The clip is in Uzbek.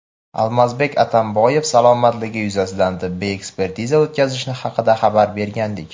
Almazbek Atamboyev salomatligi yuzasidan tibbiy ekspertiza o‘tkazilishi haqida xabar bergandik.